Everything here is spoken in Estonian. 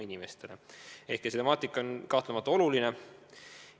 See temaatika on kahtlemata oluline.